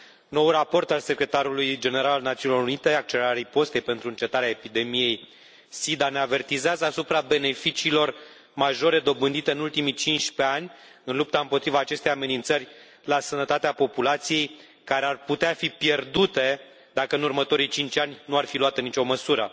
Noul raport al Secretarului General al Națiunilor Unite, Accelerarea ripostei pentru încetarea epidemiei SIDA, ne avertizează asupra beneficiilor majore dobândite în ultimii 15 ani în lupta împotriva acestei amenințări la sănătatea populației, care ar putea fi pierdute dacă, în următorii cinci ani, nu ar fi luată nicio măsură.